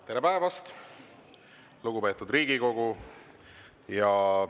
Tere päevast, lugupeetud Riigikogu!